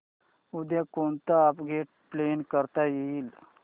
उद्या कोणतं upgrade plan करता येईल